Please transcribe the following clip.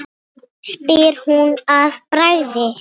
spyr hún að bragði.